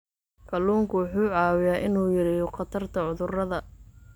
Kalluunku wuxuu caawiyaa inuu yareeyo khatarta cudurrada.